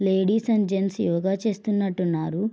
Ladies and gents yoga చేస్తునట్టు ఉన్నారు.